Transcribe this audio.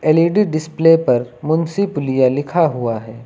L E D display पर मुंशी पुलिया लिखा हुआ है।